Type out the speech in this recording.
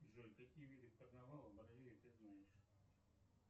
джой какие виды карнавала в бразилии ты знаешь